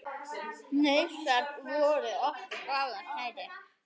Hnausar voru okkur báðum kærir.